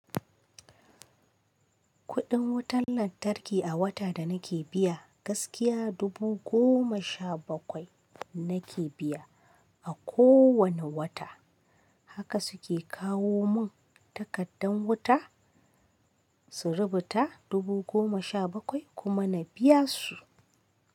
Kuɗin wutar lantarki a wata da nake biya gaskiya dubu goma sha bakwai nake biya a kowane wata. Haka suke kawo mun takardan wuta su rubuta dubu goma sha bakwai kuma na biya su.